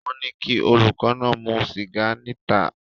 Wọ́n ní kí olùkọ́ náà mu sìgá níta